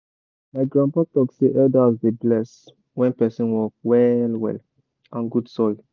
my grandpapa talk say elders dey bless when person work well well and good soil.